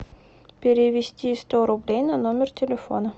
перевести сто рублей на номер телефона